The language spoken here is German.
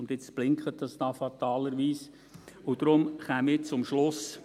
Und jetzt blinkt es hier fatalerweise, und darum käme ich zum Schluss.